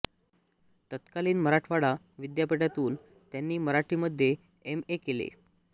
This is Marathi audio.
तत्कालीन मराठवाडा विद्यापीठातून त्यांनी मराठीमध्ये एम ए केले